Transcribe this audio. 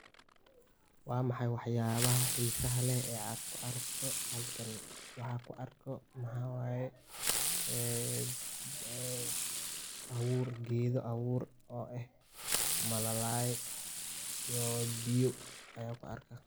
Wa maxaay waax yabaha xiisaha leh o aad ku aragto, waxa ku arko maxa waye ee ee abuur, geedo, abuur o ah maalalay iyo biiyo ayan ku arka.